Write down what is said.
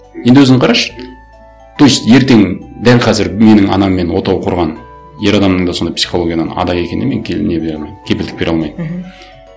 енді өзің қарашы то есть ертең дәл қазір менің анаммен отау құрған ер адамның да сондай психологиядан ада екеніне мен не бере алмаймын кепілдік бере алмаймын мхм